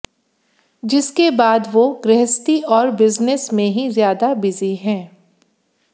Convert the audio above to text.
जिसके बाद वो गृहस्थी और बिजनेस में ही ज्यादा बिजी हैं